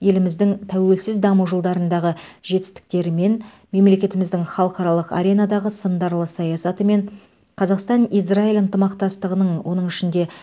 еліміздің тәуелсіз даму жылдарындағы жетістіктерімен мемлекетіміздің халықаралық аренадағы сындарлы саясатымен қазақстан израиль ынтымақтастығының оның ішінде